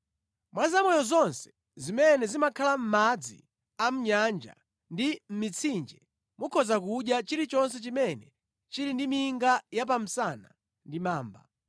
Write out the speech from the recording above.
“ ‘Mwa zamoyo zonse zimene zimakhala mʼmadzi a mʼnyanja ndi a mʼmitsinje mukhoza kudya chilichonse chimene chili ndi minga ya pa msana ndi mamba.